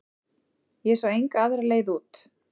Ég sá enga aðra leið út.